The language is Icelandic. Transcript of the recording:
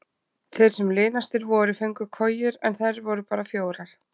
Þeir sem linastir voru fengu kojur en þær voru bara fjórar.